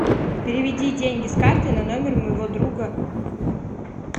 переведи деньги с карты на номер моего друга